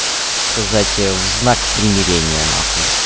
сказать в знак примирения нахуй